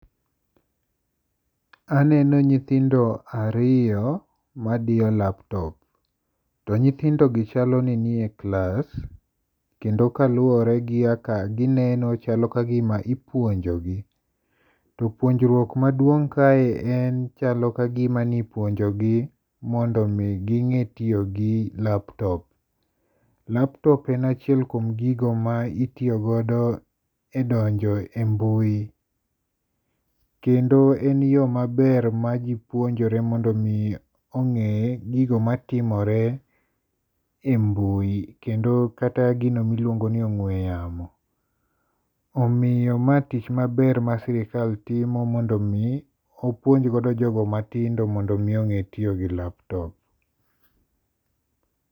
Aneno nyithindo ariyo madiyo laptop, to nyithindogi chalo ni gin e klas kendo kaluwore gi kaka gineno chalo ka gima ipuonjogi to puonjruok maduong' kae chalo ka gima ne ipuonjogi mondo ging'e kaka itiyo gi laptop. Laptop en achiel kuom gigo ma itiyo godo kuom donjo e mbui kendo en yoo maber maji puonjore mondo mi ong'e gigo matimore e mbui kendo kata gino ma iluongoni ong'ue yamo. Omiyo mae tich maber masirikal timo mondo mi opuonj godo jogo matindo mondo mi ong'e tiyo gi lap top.